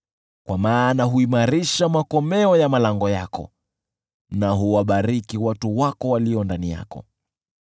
kwa maana huimarisha makomeo ya malango yako na huwabariki watu wako walio ndani yako.